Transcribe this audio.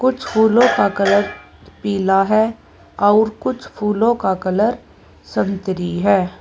कुछ फूलों का कलर पीला है और कुछ फूलों का कलर संतरी है।